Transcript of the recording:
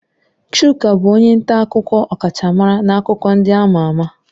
Chuka bụ onye nta akụkọ ọkachamara na akụkọ ndị ama ama.